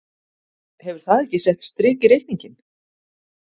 Hefur það ekki sett strik í reikninginn?